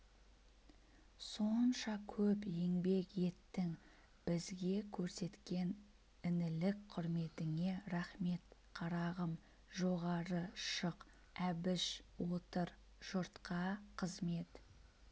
сонша көп еңбек еттің бізге көрсеткен інілік құрметіңе рақмет қарағым жоғары шық әбіш отыр жұртқа қызмет